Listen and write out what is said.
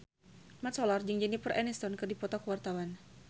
Mat Solar jeung Jennifer Aniston keur dipoto ku wartawan